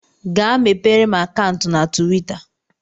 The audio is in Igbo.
Gaa mepere m akantu na tuwita